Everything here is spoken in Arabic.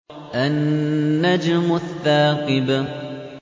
النَّجْمُ الثَّاقِبُ